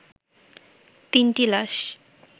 তিনটি লাশ